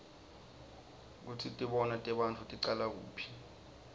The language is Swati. kutsi tibonao tebantfu ticala kuphi